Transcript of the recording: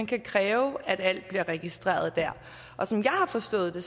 kan kræve at alt bliver registreret der som jeg har forstået det